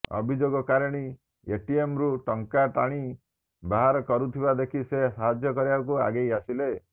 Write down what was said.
ଅଭିଯୋଗକାରିଣୀ ଏଟିଏମ୍ରୁ ଟଙ୍କା ଟାଣି ବାହାର କରୁଥିବା ଦେଖି ସେ ସାହାଯ୍ୟ କରିବାକୁ ଆଗେଇ ଆସିଲେ